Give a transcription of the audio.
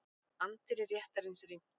Anddyri réttarins rýmt